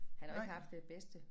Han har jo ikke haft den bedste